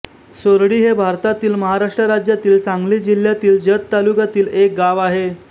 सोरडी हे भारतातील महाराष्ट्र राज्यातील सांगली जिल्ह्यातील जत तालुक्यातील एक गाव आहे